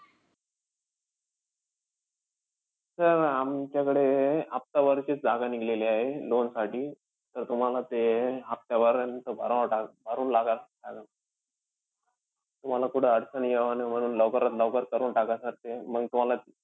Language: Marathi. Sir आमच्याकडे अं हफ्ता भरचीचं जागा निघलेली आहे loan साठी तर तुम्हाला ते हफ्ताभर भराव भरून लागा sir. तुम्हाला कुठं अडचण यावं नाई म्हणून लवकरात लवकर करून टाका sir ते. मंग तुम्हाला,